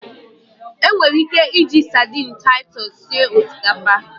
Enwere ike iji sadini Taitus sie osikapa.